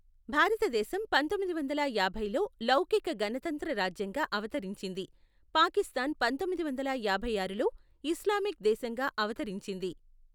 భారతదేశం పంతొమ్మిది వందల యాభైలో లౌకిక గణతంత్ర రాజ్యంగా అవతరించింది, పాకిస్థాన్ పంతొమ్మిది వందల యాభై ఆరులో ఇస్లామిక్ దేశంగా అవతరించింది.